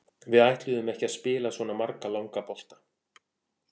Við ætluðum ekki að spila svona marga langa bolta.